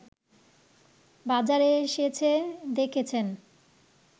বাজারে এসেছে দেখেছেন